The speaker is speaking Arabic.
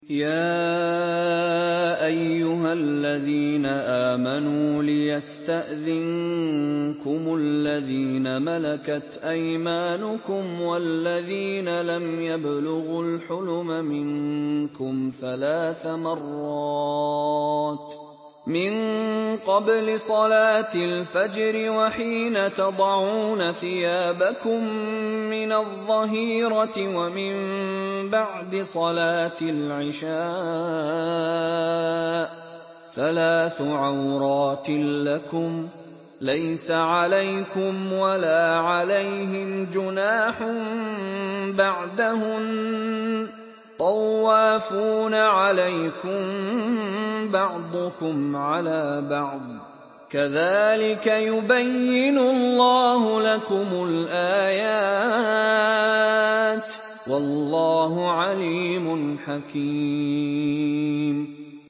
يَا أَيُّهَا الَّذِينَ آمَنُوا لِيَسْتَأْذِنكُمُ الَّذِينَ مَلَكَتْ أَيْمَانُكُمْ وَالَّذِينَ لَمْ يَبْلُغُوا الْحُلُمَ مِنكُمْ ثَلَاثَ مَرَّاتٍ ۚ مِّن قَبْلِ صَلَاةِ الْفَجْرِ وَحِينَ تَضَعُونَ ثِيَابَكُم مِّنَ الظَّهِيرَةِ وَمِن بَعْدِ صَلَاةِ الْعِشَاءِ ۚ ثَلَاثُ عَوْرَاتٍ لَّكُمْ ۚ لَيْسَ عَلَيْكُمْ وَلَا عَلَيْهِمْ جُنَاحٌ بَعْدَهُنَّ ۚ طَوَّافُونَ عَلَيْكُم بَعْضُكُمْ عَلَىٰ بَعْضٍ ۚ كَذَٰلِكَ يُبَيِّنُ اللَّهُ لَكُمُ الْآيَاتِ ۗ وَاللَّهُ عَلِيمٌ حَكِيمٌ